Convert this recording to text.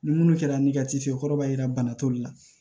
Ni munnu kɛra ni ka cikɛ kɔrɔ b'a jira bana toli la